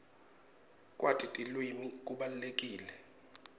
kwati tilwimi kubalulekile